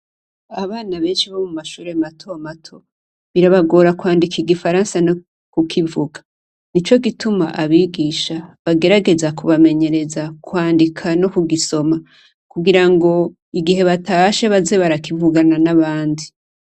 Abana benshi bo mumashure matomato birabagora kwandika igifaransa no kukivuga nico gituma abigisha bagerageza kubamenyereza kwandika no kugisoma kugira ngo igihe batashe baze barakivugana nabandi.